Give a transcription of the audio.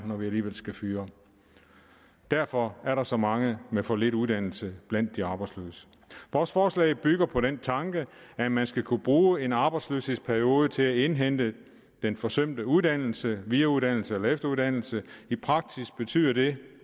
når vi alligevel skal fyre derfor er der så mange med for lidt uddannelse blandt de arbejdsløse vores forslag bygger på den tanke at man skal kunne bruge en arbejdsløshedsperiode til at indhente den forsømte uddannelse videreuddannelse eller efteruddannelse i praksis betyder det